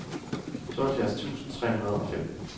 tooghalvfjerds tusind tre hundrede og fem